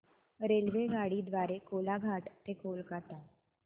रेल्वेगाडी द्वारे कोलाघाट ते कोलकता